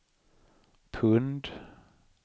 pund